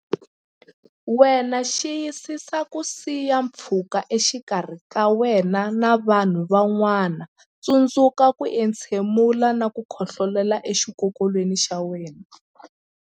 Wena Xiyisisa ku siya pfhuka exikarhi ka wena na vanhu van'wana Tsundzuka ku entshemula na ku khohlolela exikokolweni xa wena.